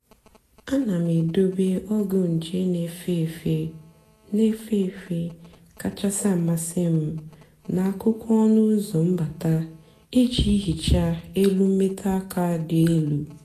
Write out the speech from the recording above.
àna m èdòbé ọ́gwụ́ njè na-èfé èfé na-èfé èfé kachásị́ àmasị́ m n’àkụ́kụ́ ọnụ́ ụ́zọ́ mbátà ìjì hìchaa èlù mmètụ́ àka dị́ èlù.